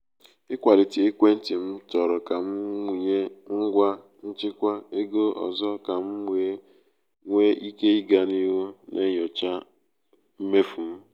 ịkwalite ekwentị m chọrọ ka m wụnye ngwa nchịkwa ego ọzọ ka m wee nwee ike ịga n’ihu na-enyocha mmefu m.